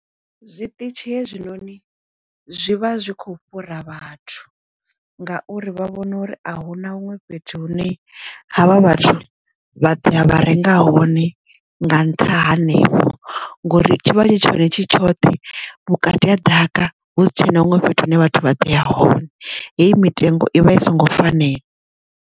Zwiṱitshi hezwinoni zwivha zwi kho fhura vhathu ngauri vha vhona uri a hu na huṅwe fhethu hune havha vhathu vha ḓoya vha renga hone nga nṱha hanevho ngori tshivha tshi tshone tshi tshoṱhe vhukati ha ḓaka husi tshena huṅwe fhethu hune vhathu vha ḓoya hone heyi mitengo i vha i songo fanela.